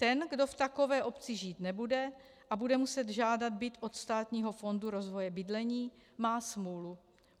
Ten, kdo v takové obci žít nebude a bude muset žádat byt od Státního fondu rozvoje bydlení, má smůlu.